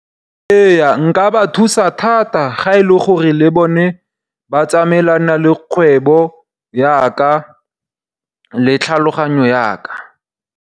Ee nka ba thusa thata ga e le gore le bone ba tsamaelana le kgwebo ya ka le tlhaloganyo ya ka.